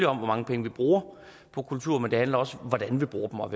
om hvor mange penge vi bruger på kultur men det handler også om hvordan vi bruger dem og